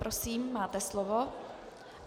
Prosím, máte slovo.